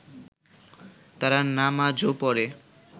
তারা নামাজও পড়ে